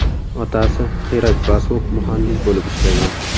Otasi Xirak Basu muhandis bo‘lib ishlagan.